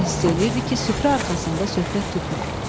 Hamı hiss eləyirdi ki, süfrə arxasında söhbət tutmur.